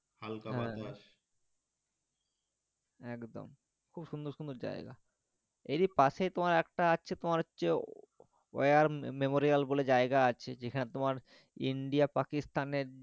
হালকা বাতাস একদম খুব সুন্দর সুন্দর জায়গা এরই পাশেই তোমার একটা আছে তোমার হচ্ছে war memorial বলে জায়গা আছে যেখানে তোমার india পাকিস্তানের,